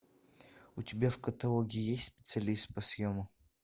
у тебя в каталоге есть специалист по съему